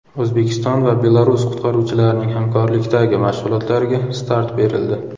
O‘zbekiston va Belarus qutqaruvchilarining hamkorlikdagi mashg‘ulotlariga start berildi .